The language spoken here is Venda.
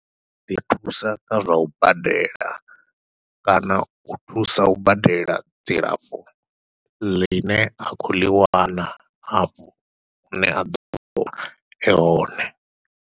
Dzi thusa kha zwau badela kana u thusa u badela dzilafho ḽine a khou ḽi wana afho hune a ḓovha e hone.